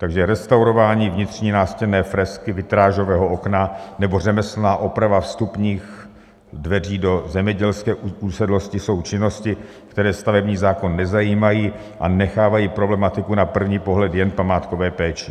Takže restaurování vnitřní nástěnné fresky, vitrážového okna nebo řemeslná oprava vstupních dveří do zemědělské usedlosti jsou činnosti, které stavební zákon nezajímají a nechávají problematiku na první pohled jen památkové péči.